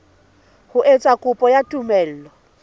ho etsa kopo ya tumello